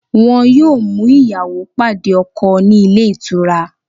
Wọn yóò mú ìyàwó pàdé ọkọ̀ ní ilé-ìtura